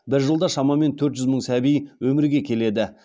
бір жылда шамамен төрт жүз мың сәби өмірге келеді